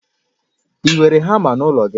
I nwere hama n'ụlọ gi?